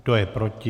Kdo je proti?